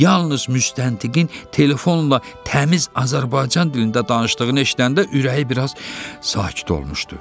Yalnız müstəntiqin telefonla təmiz Azərbaycan dilində danışdığını eşidəndə ürəyi biraz sakit olmuşdu.